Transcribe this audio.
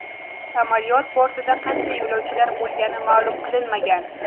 Samolyot bortida qancha yo‘lovchilar bo‘lgani ma’lum qilinmagan.